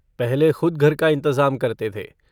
पहले खुद घर का इन्तज़ाम करते थे।